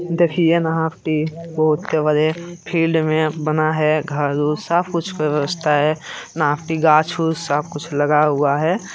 देखिए ये बहुत बड़े फील्ड में बना है घर उर सब कुछ व्यवस्था है गाछ उछ सब कुछ लगा हुआ है।